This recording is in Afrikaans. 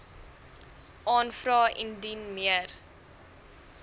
aanvra indien meer